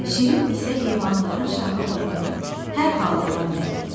Şir isə heyvanların şahı olduğu hər halından bəlli idi.